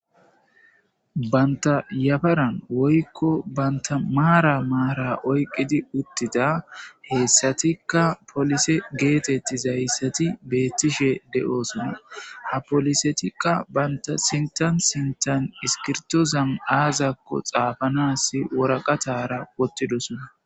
banta yafaran woykko banta maara maara oyqqidi uttida heessatikka polise geetetti zayssati beettishe de7oosona ha polisetikka banta sintan sintan iskirtozan aazakko xaafanas woraqatara wottidosona